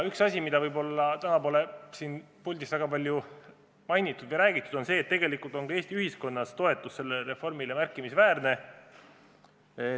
Üks asi, mida täna pole siin puldis väga palju mainitud, on see, et tegelikult on Eesti ühiskonnas toetus sellele reformile märkimisväärne.